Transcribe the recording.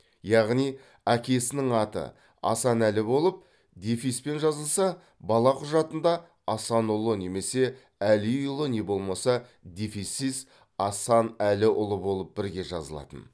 яғни әкесінің аты асан әлі болып дефиспен жазылса бала құжатында асанұлы немесе әлиұлы не болмаса дефиссіз асанәліұлы болып бірге жазылатын